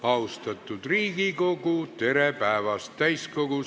Austatud Riigikogu, tere päevast!